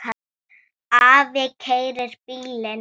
Afi keyrir bílinn.